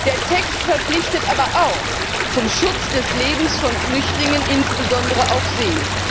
Der Text verpflichtet aber auch zum Schutz des Lebens von Flüchtlingen, insbesondere auf See.